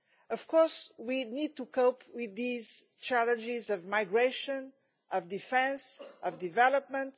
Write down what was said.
Of course, we need to cope with the challenges of migration, defence and development